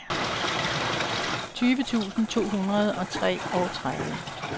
tyve tusind to hundrede og treogtredive